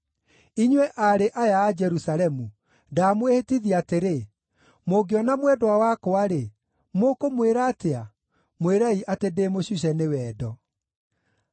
Inyuĩ aarĩ aya a Jerusalemu, ndamwĩhĩtithia atĩrĩ: mũngĩona mwendwa wakwa-rĩ, mũkũmwĩra atĩa? Mwĩrei atĩ ndĩ mũcuce nĩ wendo.